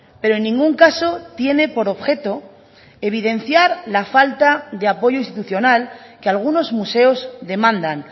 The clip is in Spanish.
pero en ningún caso tiene por objeto evidenciar la falta de apoyo institucional que algunos museos demandan